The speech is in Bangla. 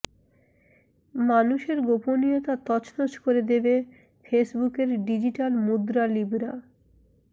মানুষের গোপনীয়তা তছনছ করে দেবে ফেসবুকের ডিজিটাল মুদ্রা লিবরা